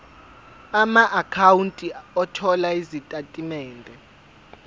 amaakhawunti othola izitatimende